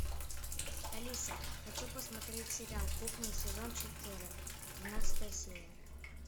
алиса хочу посмотреть сериал кухня сезон четыре двенадцатая серия